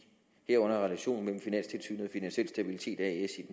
herunder relationen mellem finanstilsynet og finansiel stabilitet as